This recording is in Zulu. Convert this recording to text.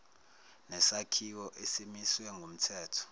nesakhiwo esimiswe ngumthetho